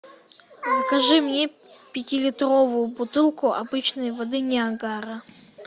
закажи мне пятилитровую бутылку обычной воды ниагара